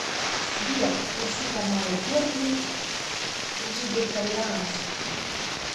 сбер включи каналы первый вегетарианский